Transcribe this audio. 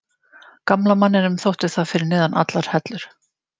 Gamla manninum þótti það fyrir neðan allar hellur.